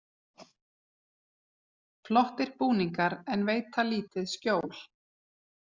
Flottir búningar en veita lítið skjól